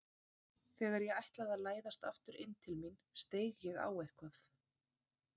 Þegar ég ætlaði að læðast aftur inn til mín steig ég á eitthvað.